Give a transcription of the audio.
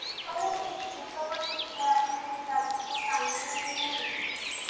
बर आहे इतका पण खराब नाहीये आणि जास्त पण चांगलं नाही.